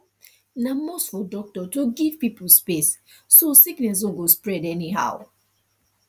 na must for doctor to give pipo space so sickness no go spread anyhow